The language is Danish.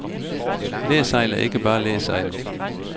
Læsejl er ikke bare læsejl.